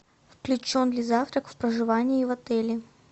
включен ли завтрак в проживание в отеле